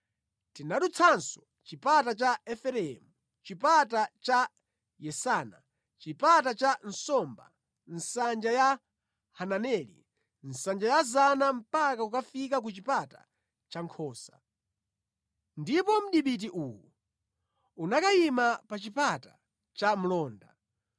Tinadutsanso Chipata cha Efereimu, Chipata cha Yesana, Chipata cha Nsomba, Nsanja ya Hananeli, Nsanja ya Zana mpaka kukafika ku Chipata cha Nkhosa. Ndipo mdipiti uwu unakayima pa Chipata cha Mlonda.